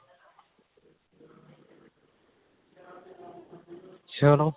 ਚਲੋ